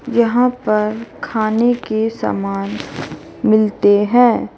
यहां पर खाने के समान मिलते है।